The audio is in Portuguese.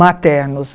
Maternos.